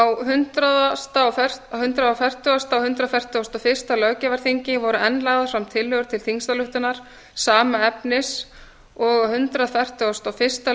á hundrað fertugasta og hundrað fertugasta og fyrsta löggjafarþingi voru enn lagðar fram tillögur til þingsályktunar sama efnis og á hundrað fertugasta og fyrsta